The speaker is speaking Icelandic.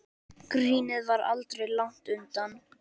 Grínið var aldrei langt undan.